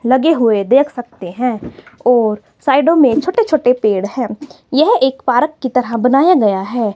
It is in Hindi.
लगे हुए देख सकते हैं और साइडों में छोटे छोटे पेड़ हैं यह एक पारक की तरह बनाया गया है।